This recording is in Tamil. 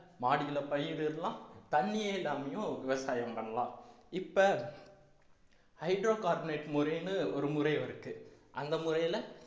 மாடியில பயிர் விடலாம் தண்ணியே இல்லாமயும் விவசாயம் பண்ணலாம் இப்ப hydrocarbonate முறைன்னு ஒருமுறை இருக்கு அந்த முறையில